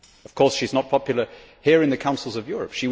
Of course she is not popular here in the Councils of Europe.